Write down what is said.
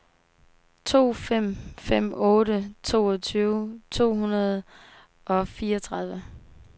to fem fem otte toogtyve to hundrede og fireogtredive